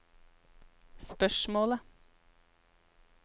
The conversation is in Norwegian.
spørsmålet